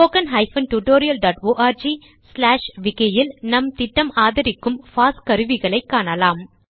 spoken tutorialorgவிக்கி இல் நம் திட்டம் ஆதரிக்கும் பாஸ் கருவிகளை காணலாம்